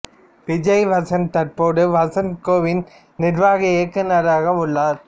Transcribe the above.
விஜய் வசந்த் தற்போது வசந்த் கோவின் நிர்வாக இயக்குநராக உள்ளார்